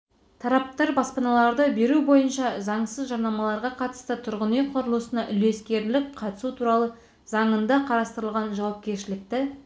тараптар баспаналарды беру бойынша заңсыз жарнамаларға қатысты тұрғын үй құрылысына үлескерлік қатысу туралы заңында қарастырылған жауапкершілікті